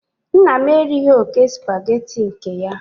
Nna m erighị oke Supagetii nke ya